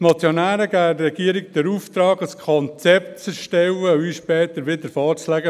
Die Motionäre erteilen der Regierung den Auftrag, ein Konzept zu erstellen und es uns später wieder vorzulegen.